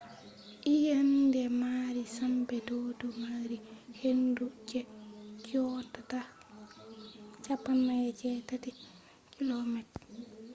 eyeende maari sembe do do mari hendu je yottata 480 km/h 133m/s; 300mph